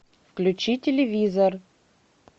включи телевизор